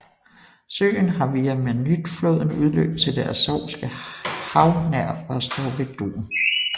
Søen har via Manytjfloden udløb til det Azovske Hav nær Rostov ved Don